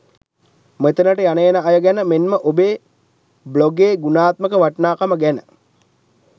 මෙතනට යන එන අය ගැන මෙන්ම ඔබේ බ්ලොගේ ගුණාත්මක වටිනාකම ගැන